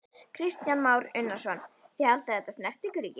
Kristján Már Unnarsson: Þið haldið að þetta snerti ykkur ekki?